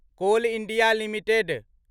call India limited